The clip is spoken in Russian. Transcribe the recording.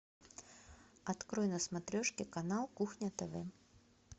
открой на смотрешке канал кухня тв